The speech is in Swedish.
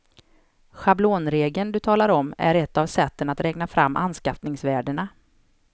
Schablonregeln du talar om är ett av sätten att räkna fram anskaffningsvärdena.